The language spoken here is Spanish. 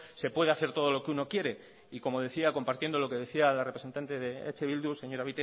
se puede hacer todo lo que uno quiere y como decía compartiendo lo que decía la representante del eh bildu señora